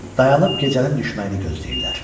Dayanıb gecənin düşmənini gözləyirlər.